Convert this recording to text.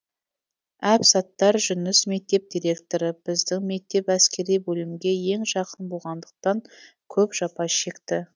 әбсаттар жүніс мектеп директоры біздің мектеп әскери бөлімге ең жақын болғандықтан көп жапа шекті